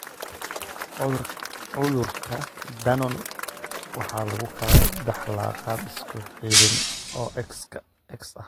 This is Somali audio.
Cudurka Dannon waxa lagu kala dhaxlaa qaab isku xidhan oo X ah.